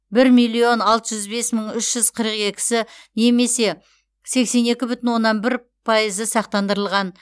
бір миллион алты жүз бес мың үш жүз қырық екісі немесе сексен екі бүтін оннан бір пайызы сақтандырылған